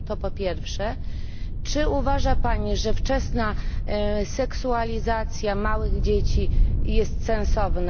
Po drugie, czy uważa Pani, że wczesna seksualizacja małych dzieci jest sensowna?